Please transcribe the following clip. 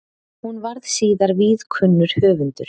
Hún varð síðar víðkunnur höfundur.